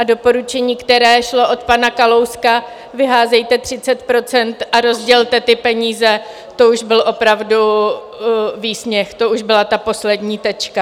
A doporučení, které šlo od pana Kalouska - vyházejte 30 % a rozdělte ty peníze, to už byl opravdu výsměch, to už byla ta poslední tečka.